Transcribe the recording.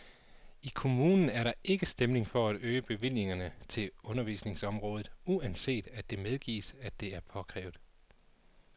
I kommunen er der ikke stemning for at øge bevillingerne til undervisningsområdet, uanset at det medgives, at det er påkrævet.